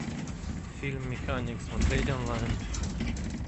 фильм механик смотреть онлайн